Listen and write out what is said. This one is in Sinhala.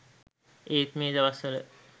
ඒත් මේ දවස්වල